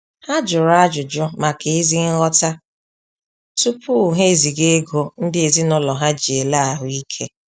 Ha jụrụ ajụjụ maka ézí nghọta tupu ha eziga ego ndị ezinaụlọ ha ji ele ahuike